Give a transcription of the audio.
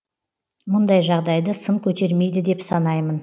мұндай жағдайды сын көтермейді деп санаймын